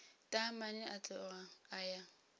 taamane a tloga a ya